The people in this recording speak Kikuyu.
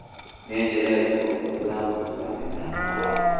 Nĩ njĩra ĩrĩkũ hũthũ ya kũhũra mĩmera maaĩ